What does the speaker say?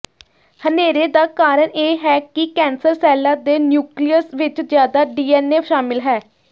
ਹਨੇਰੇ ਦਾ ਕਾਰਨ ਇਹ ਹੈ ਕਿ ਕੈਂਸਰ ਸੈੱਲਾਂ ਦੇ ਨਿਊਕਲੀਅਸ ਵਿਚ ਜ਼ਿਆਦਾ ਡੀਐਨਏ ਸ਼ਾਮਿਲ ਹੈ